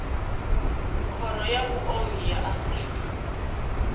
khoro ya vhuongi ya afrika